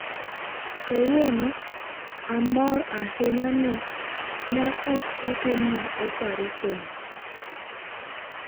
"""Kawuono, amor ahinya ni ne ok otimna opareson."